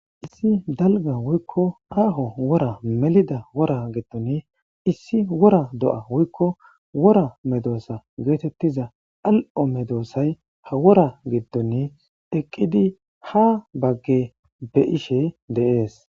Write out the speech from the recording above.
Issi dalga wuykko aaho wora melida wora gettoni issi wora do7a wuykko wora medoosa geetettiza al7o medoossay ha wora gittoni eqqidi ha bagge be ishe deees.